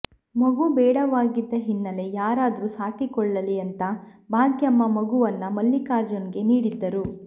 ಮಗು ಬೇಡವಾಗಿದ್ದ ಹಿನ್ನೆಲೆ ಯಾರಾದ್ರೂ ಸಾಕಿಕೊಳ್ಳಲಿ ಅಂತಾ ಭಾಗ್ಯಮ್ಮ ಮಗುವನ್ನ ಮಲ್ಲಿಕಾರ್ಜುನ್ಗೆ ನೀಡಿದ್ದರು